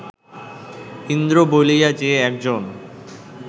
ইন্দ্র বলিয়া যে একজন